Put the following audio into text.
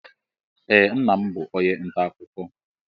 Ee nna m bụ onye nta akụkọ